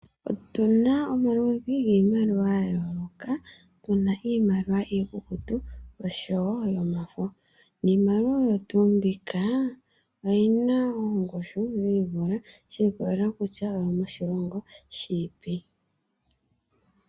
Otu na omaludhi giimaliwa yayooloka, tu na iimaliwa iikukutu nosho woo yomafo. Iimaliwa oyo tuu mbika oyi na ongushu yivule shi ikolelela kutya oyomoshilongo shiipi.